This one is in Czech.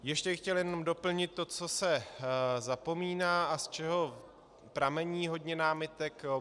Ještě bych chtěl jenom doplnit to, co se zapomíná a z čeho pramení hodně námitek.